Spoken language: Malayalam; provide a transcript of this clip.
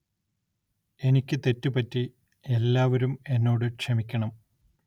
എനിക്ക് തെറ്റു പറ്റി എല്ലാവരും എന്നോട് ക്ഷമിക്കണം